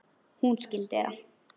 Hún skildi það.